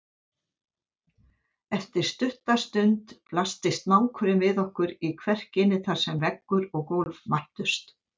Eftir stutta stund blasti snákurinn við okkur í kverkinni þar sem veggur og gólf mættust.